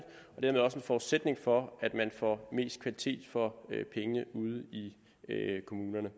forudsætning for at man får mest kvalitet for pengene ude i kommunerne